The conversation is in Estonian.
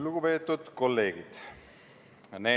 Lugupeetud kolleegid!